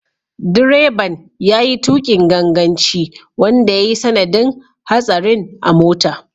Direban ya yi tukin ganganci wanda ya yi sanadin hatsarin a mota.